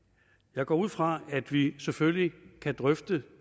jeg går ud fra at vi selvfølgelig kan drøfte